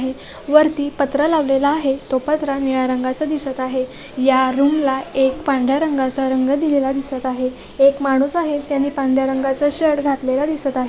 वरती पत्रा लावलेले आहे तो पत्रा निळा रंगाचा दिसत आहे या रूमला एक पांढरा रंगाचा रंग दिलेला दिसत आहे एक माणूस आहे त्यांनी पांढरा रंगाचा शर्ट घातलेला दिसत आहे.